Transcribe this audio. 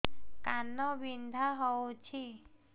କାନ ବିନ୍ଧା ହଉଛି